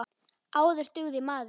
Áður dugði maður.